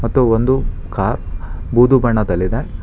ಮತ್ತು ಒಂದು ಕಾರ್ ಬೂದು ಬಣ್ಣದಲ್ಲಿದೆ.